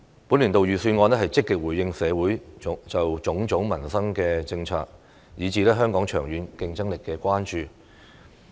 本年度預算案積極回應社會就種種民生政策，以至香港長遠競爭力的關注。